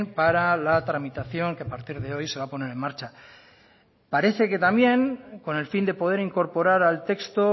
para la tramitación que a partir de hoy se va a poner en marcha parece que también con el fin de poder incorporar al texto